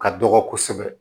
Ka dɔgɔ kosɛbɛ